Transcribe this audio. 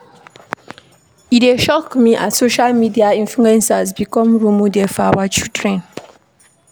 E dey shock me as social media influencers become role models for our children.